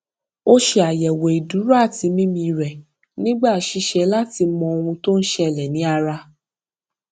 ó ṣe àyẹwò ìdúró àti mímí rẹ nígbà ṣiṣẹ láti mọ ohun tó ń ṣẹlẹ ní ara